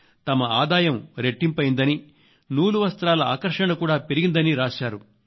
తమ ఆదాయం రెట్టింపు అయ్యిదని నూలు వస్త్రాల ఆకర్షణ కూడా పెరిగిందని రాశారు